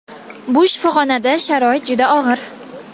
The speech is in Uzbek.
Bu shifoxonada sharoit juda og‘ir.